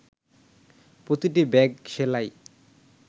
প্রতিটি ব্যাগ সেলাই